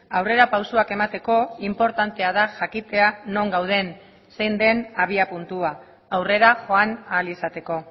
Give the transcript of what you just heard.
aurrerapausoak emateko inportantea da jakitea non gauden zein den abiapuntua aurrera joan ahal izateko